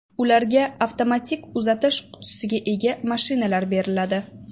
Ularga avtomatik uzatish qutisiga ega mashinalar beriladi.